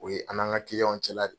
O ye an n'an ka cɛla de ye